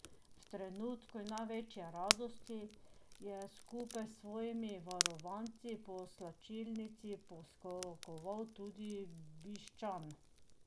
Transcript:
V trenutka največje radosti, je skupaj s svojimi varovanci po slačilnici poskakoval tudi Bišćan.